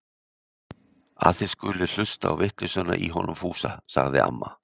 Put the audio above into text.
Að þið skulið hlusta á vitleysuna í honum Fúsa! sagði amma.